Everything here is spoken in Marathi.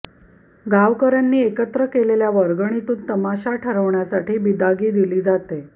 गावकऱ्यांनी एकत्र केलेल्या वर्गणीतून तमाशा ठरवण्यासाठी बिदागी दिली जाते